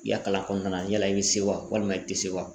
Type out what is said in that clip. I ya kalan kɔnɔna na yala i be se wa walima i te se wa